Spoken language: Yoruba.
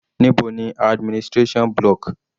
Níbo ni administration block?